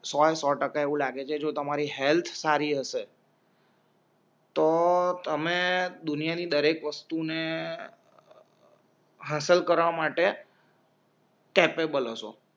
સોએ સોટકા એવું લાગે છે જો તમારી હેલ્થ સારી હશે તો તમે દુનિયાની દરેક વસ્તુને હાંસલ કરવા માટે કેપએબલ હસો